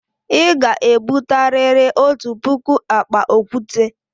Ị ga-ebute riri otu puku akpa okwute!